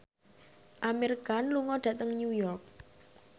Amir Khan lunga dhateng New York